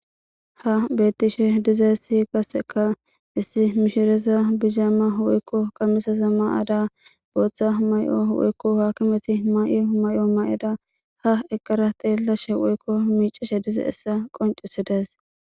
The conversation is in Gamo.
ha beettishe dizesi kaseka issi mishireza bizaama woykko qammisaza ma ada booththa may7o woykko haakimeti may7o may7o may7eda ha eqqara teellashe woykko miicishe dize essa qoncisi dees